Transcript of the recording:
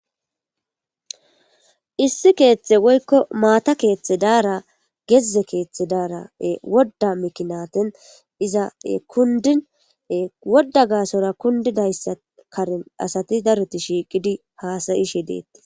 Issi keethe woyiko maata keethe daara gezze kethe daara wodda mikinatin iza kundine wodda gaasora kundidayssa karin asati daruti shiiqidi haasayishe deetti